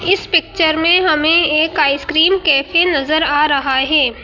इस पिक्चर में हमें एक आइसक्रीम कैफे नजर आ रहा है।